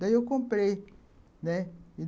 Daí eu comprei, né